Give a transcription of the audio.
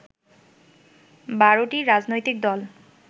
১২টি রাজনৈতিক দল